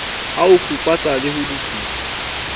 ho fuputsa le ho lokisetsa